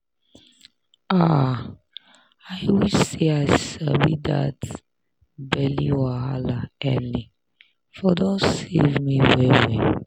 ah i wish say i sabi that belly wahala early for don save me well well